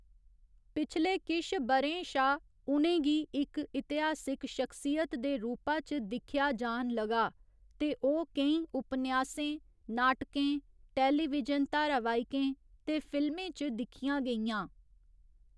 पिछले किश ब'रें शा उ'नें गी इक इतिहासक शख्सियत दे रूपा च दिक्खेआ जान लगा ते ओह् केईं उपन्यासें, नाटकें, टेलीविजन धारावाहिकें ते फिल्में च दिक्खियां गेइयां।